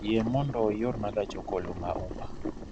Yie mondo iorna gach okoloma uber